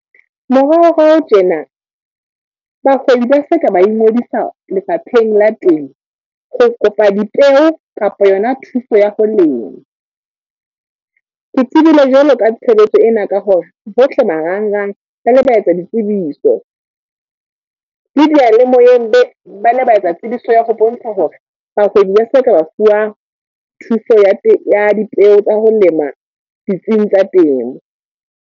Moraorao tjena, bahwebi ba ba ngodisa lefapheng la teng. Ho kopa dipeo kapa yona thuso ya ho lema. Ke tsebile jwalo ka tshebetso ena ka hore, hohle marangrang ba le ba etsa ditsebiso. Le diyalemoyeng be, ba le ba etsa tsebiso ya ho bontsha hore bahwebi ba hloka ho fuwa, thuso ya ya dipeo tsa ho lema ditsing tsa temo.